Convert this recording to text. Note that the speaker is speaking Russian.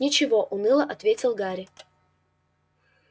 ничего уныло ответил гарри